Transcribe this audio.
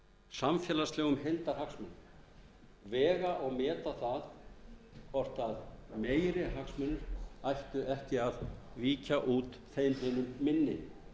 samfélagslegum heildarhagsmunum vega og meta það hvort meiri hagsmunir ættu ekki að víkja út þeim hinum minni